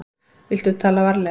Viltu tala varlega.